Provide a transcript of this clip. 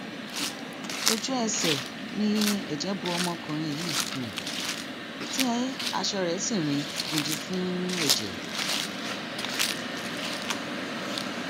ojúẹsẹ ni ẹjẹ bo ọmọkùnrin yìí tí aṣọ rẹ sì rin gbindin fún ẹjẹ